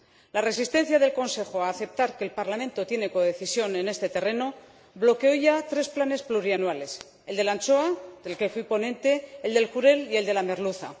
La resistencia del Consejo a aceptar que el Parlamento tiene codecisión en este terreno bloqueó ya tres planes plurianuales, el de la anchoa, del que fui ponente, el del jurel y el de la merluza.